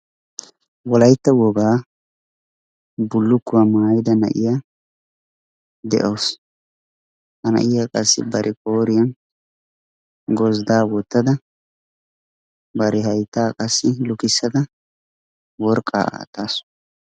wolaytta wogaa bullukkuwaa maayida na'iya de'awusu ha na'iya qassi bari qooriyan gozdaa wotada bari hayttaa qassi lukkisada worqaa aataasu.